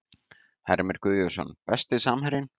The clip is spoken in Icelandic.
Heimir Guðjónsson Besti samherjinn?